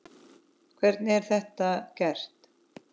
Hvernig er þetta gert?